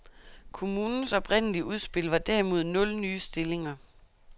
Kommunens oprindelige udspil var derimod nul nye stillinger.